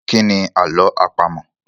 Kí ni àlọ́ àpamọ̀?